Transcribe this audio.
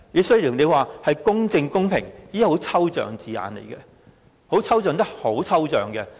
雖然條文提到公正公平，但這是很抽象的字眼，確實非常抽象。